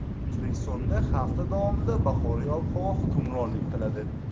O‘zbekistonda hafta davomida bahoriy ob-havo hukmronlik qiladi.